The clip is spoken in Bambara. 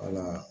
Wala